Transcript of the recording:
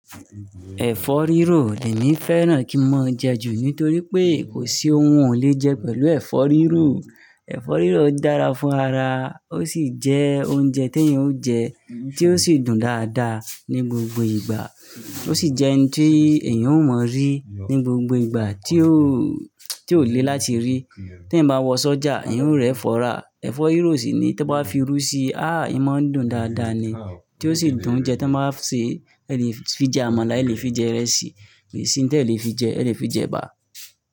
Ẹ̀fọ́ rírò, èmi fẹ́ràn kí n mo'n jẹ ju nítorí pé kò sí ohun o lè jẹ pẹ̀lú ẹ̀fọ́ rírò. Ẹ̀fọ́ rírò dára fún ara, ó sì jẹ́ oúnjẹ tí èèyàn ó jẹ, tí ó sì dùn dáadáa ní gbogbo ìgbà. Ó sì jẹ́ ohun tí èèyàn ó mọ rí ní gbogbo ìgbà tí ó, tí ó lè láti rí. Tí ẹ̀ bá wọ sọ́jà, ẹ̀yan ó rí ẹ̀fọ́ rà. E ẹ̀fọ́ rírò sì ni tó bá fi rú sí, ah! Ìmá dùn dáadáa ni, tí ó sì dùn jẹ tí wọ́n bá ṣe, ẹ lè fi jẹ àmàlà, ẹ lè fi jẹ ìrẹsì, ìrẹsì tí ẹ lè fi jẹ, ẹ lè fi jẹ ẹ̀bà.